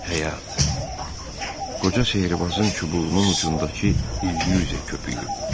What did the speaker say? Həyat Qoca Şehbazın çubuğunun ucundakı illüzya köpüyü.